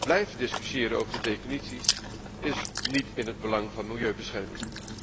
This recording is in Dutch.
Blijven discussiëren over de definities is niet in het belang van milieubescherming.